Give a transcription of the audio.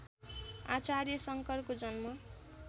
आचार्य शङ्करको जन्म